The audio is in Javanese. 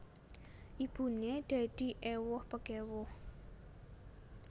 Ibuné dadi éwuh pekéwuh